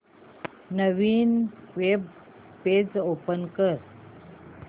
नवीन web page open कर